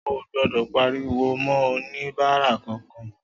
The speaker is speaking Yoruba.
Oò gbodò pariwo ma oníbàárà kan-kan